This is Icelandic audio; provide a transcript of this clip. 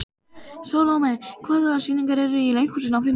Salome, hvaða sýningar eru í leikhúsinu á fimmtudaginn?